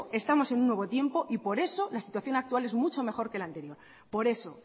estamos en un nuevo tiempo y por eso la situación actual es mucho mejor que la anterior por eso